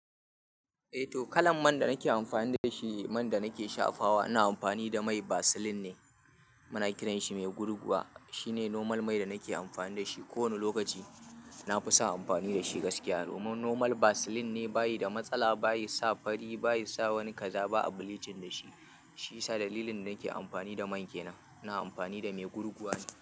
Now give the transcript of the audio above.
Eh to kalan man da nake amfani da shi, man da nake shafawa, ina amfani da mai Vaseline ne. Muna kiran shi mai gurguwa. Shine normal mai da nake amfani da shi kowane lokaci. Na fi sa amfani da shi gaskiya. Domin normal Vaseline ne, bayi da matsala, bayi sa fari, bayi sa wani kaza ba a bleaching da shi. Shiyasa dalilin da nake amfani da man kenan. Ina amfani da mai gurguwa ne.